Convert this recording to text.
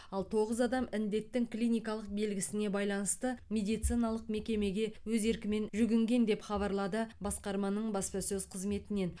ал тоғыз адам індеттің клиникалық белгісіне байланысты медициналық мекемеге өз еркімен жүгінген деп хабарлады басқарманың баспасөз қызметінен